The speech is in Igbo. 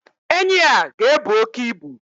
Enyi a ga-ebu oke ibu.